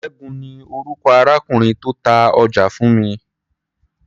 Ṣẹ́gun ni orúkọ arákùnrin tó ta ọjà fún mi.